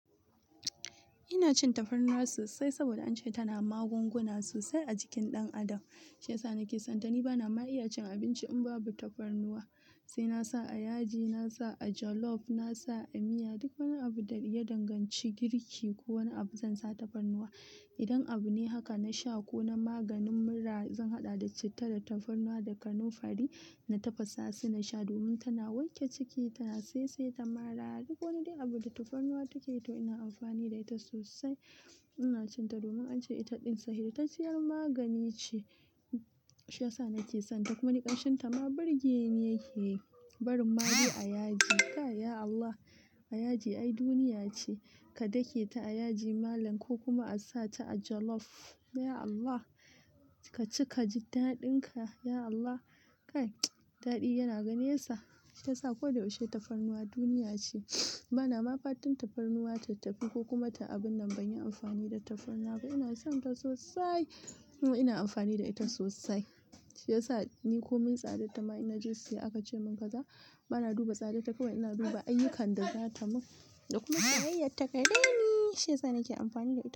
Ina cin tafarnuwa sosai saboda an ce tana magunguna sosai a jikin ɗan adam. Shi ya sa nake son ta. Ni bana ma iya cin abinci in babu tafarnuwa. Sai nasa a yaji, nasa a jolof, nasa a miya, duk wani abu da ya danganci girki ko wani abu zan sa tafarnuwa. Idan abu ne haka, na sha ko na maganin mura zan haɗa da citta da tafarnuwa da kanunfari na tafasa su na sha domin tana wanke ciki, tana saisai, ta mara. Duk wani abu dai tafarnuwa takeyi to ina amfani da ita sosai. Ina cin ta domin an ce ita ɗin sahihi, ta ciyar magani ce. Shi ya sa nake sonta. Kuma nikanshin ta ma birge ni yake. Barin madai a yaji. Kai ya Allah! A yaji ai duniya ce. Ka dake ta a yaji malam ko kuma a sa ta a jolof. Ya Allah! Ka ci ka ji ta daɗin ka. Ya Allah! Kai daɗi yana gane sa. Ta sa koyaushe tafarnuwa duniya ce. Bana ma fatan tafarnuwa ta tafi ko kuma ta abun nan ban yi amfani da tafarnuwa ba. Ina son ta sosai kuma ina amfani da ita sosai. Shi ya sa ni komin tsadar ta ma ina jesiya aka ce mun kaza bana duba tsadar ta kawai ina duba ayyukan da zata mun da kuma soyayyar tagare ni. Shi ya sa nake amfani da ita.